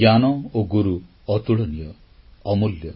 ଜ୍ଞାନ ଓ ଗୁରୁ ଅତୁଳନୀୟ ଅମୂଲ୍ୟ